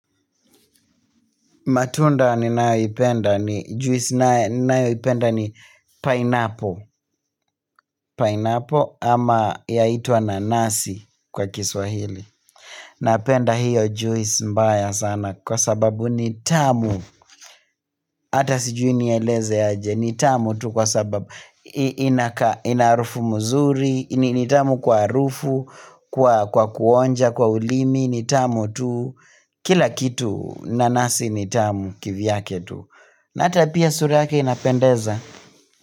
Matunda ni nayo ipenda ni juisi nayo ipenda ni pineapple, pineapple ama yaitwa nanasi kwa kiswahili. Napenda hiyo juisi mbaya sana kwa sababu nitamu, hata sijuinieleze aje, nitamu tu kwa sababu inaarufu mzuri, nitamu kwa rufu, kwa kuonja, kwa ulimi, nitamu tu, kila kitu nanasi nitamu kivyake tu. Na hata pia suri yake inapendeza.